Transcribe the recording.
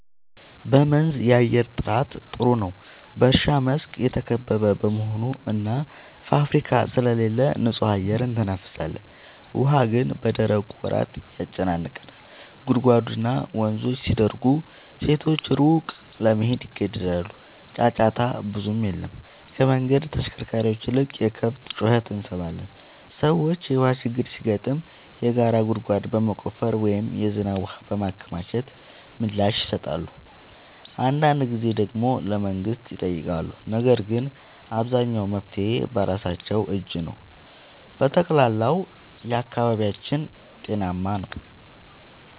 በመንዝ የአየር ጥራት ጥሩ ነው፤ በእርሻ መስክ የተከበበ በመሆኑ እና ፋብሪካ ስለሌለ ንጹህ አየር እንተነፍሳለን። ውሃ ግን በደረቁ ወራት ያጨናንቃል፤ ጉድጓድና ወንዞች ሲደርቁ ሴቶች ሩቅ ለመሄድ ይገደዳሉ። ጫጫታ ብዙም የለም፤ ከመንገድ ተሽከርካሪዎች ይልቅ የከብት ጩኸት እንሰማለን። ሰዎች የውሃ ችግር ሲገጥም የጋራ ጉድጓድ በመቆፈር ወይም የዝናብ ውሃ በማከማቸት ምላሽ ይሰጣሉ። አንዳንድ ጊዜ ደግሞ ለመንግሥት ይጠይቃሉ፤ ነገር ግን አብዛኛው መፍትሔ በራሳቸው እጅ ነው። በጠቅላላው አካባቢያችን ጤናማ ነው።